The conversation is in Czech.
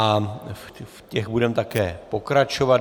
A v těch budeme také pokračovat.